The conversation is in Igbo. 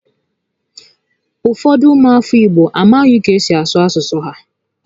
Ụfọdụ ụmụ afọ Igbo amaghị ka esi asụ asụsụ ha